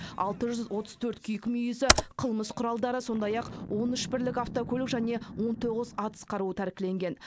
алты жүз отыз төрт киік мүйізі қылмыс құралдары сондай ақ он үш бірлік автокөлік және он тоғыз атыс қаруы тәркіленген